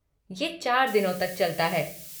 ये चार दिनों तक चलता है।